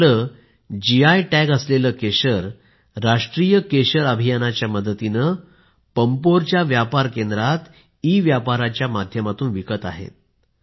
ते आपलं GI tagged केशर राष्ट्रीय केशर अभियानाच्या मदतीनं पम्पोरच्या व्यापार केंद्रात ईव्यापाराच्या माध्यमातून विकत आहेत